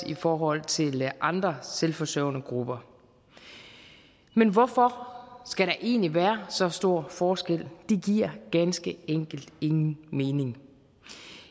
i forhold til andre selvforsørgende grupper men hvorfor skal der egentlig være så stor forskel det giver ganske enkelt ingen mening